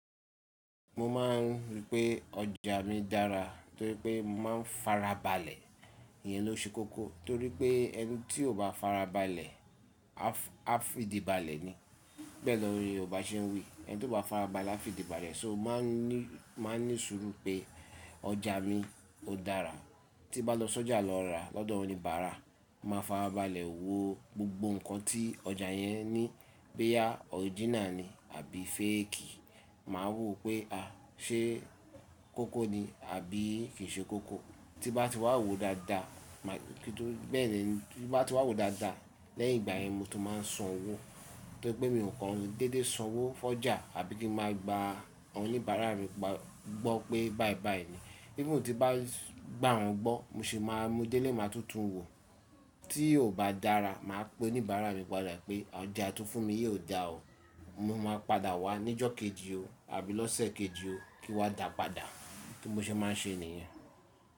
Mo máa ń rí pé ọjà mi dára torí pé máa ń farabalẹ̀, ìyẹn ló ṣe kókó torí pé ẹni tí ò bá farabalẹ̀, a fi ìdí balẹ̀ ni. Bẹ́ẹ̀ lọ ni Yorùbá ṣe ń wí "Ẹni tí ò bá farabalẹ̀ a fi ìdí balẹ̀", só ma ni, máa ní sùúrù pé ọjà mi ó dára. Tí bá lọ sọ́jà lọ rà lọ́dọ̀ oníbàárà, màá farabalẹ̀ wo gbogbo ǹkan tí ọjà yẹn ní pé ya original ni àbí fake, màá wò ó pé a ṣé kókó ni àbí kì í ṣe kókó. Tí bá ti wà wò dáadáa, kí n tó bẹ́ẹ̀ lọ tí bá ti wà wò dáadáa lẹ́yìn ìgbà yẹn mo tó máa san owó torí pé mi ò kan dédé san owó fọ́jà àbí kí máa gba oníbàárà mi gbọ́ pé báì báì ni. Bí mo ti bá gba òun gbọ́, mo sì máa mu dé lè máa tútù wò ó. Tí ò bá dára màá pe oníbàárà mi padà pé ọjà tó fún mi yóò dà ó, mo máa padà wá ní ọjọ́ kejì o àbí lọ́sẹ̀ kejì o kí ó wá dàá padà. Bí mo ṣe máa ń ṣe ni yen.